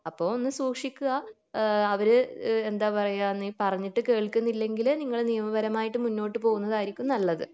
അപ്പൊ ഒന്ന് സൂക്ഷിക്കുക അഹ് അവര് എന്താ പറയാ നീ പറഞ്ഞിട്ട് കേൾകുന്നില്ലെങ്കിൽ നിങ്ങൾ നിയപരമായിട്ട് മുന്നോട്ട് പോകുന്നതായിരിക്കും നല്ലത്